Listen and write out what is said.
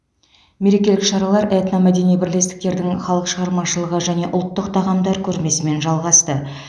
мерекелік шаралар этномәдени бірлестіктердің халық шығармашылығы және ұлттық тағамдар көрмесімен жалғасты